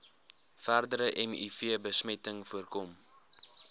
verdere mivbesmetting voorkom